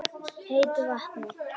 heitu vatni.